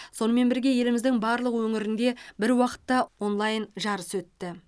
сонымен бірге еліміздің барлық өңірінде бір уақытта онлайн жарыс өтті